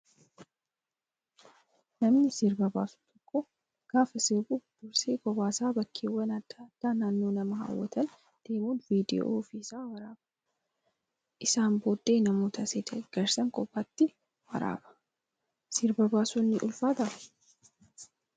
Namni sirba baasu tokko gaafa sirbu dursee kophaa isaa bakkeewwan adda addaa naannoo nama hawwatan deemuun viidiyoo ofii isaa waraaba. Isaan booddee namoota isa deeggaranis kophaatti waraaba. Sirba baasuun ni ulfaataa?